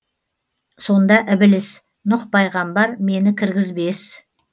сонда ібіліс нұх пайғамбар мені кіргізбес